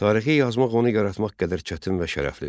Tarixi yazmaq onu yaratmaq qədər çətin və şərəflidir.